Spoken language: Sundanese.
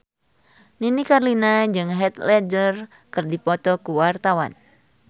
Nini Carlina jeung Heath Ledger keur dipoto ku wartawan